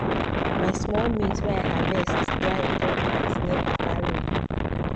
my small maize wey i harvest dry ontop mat near papa room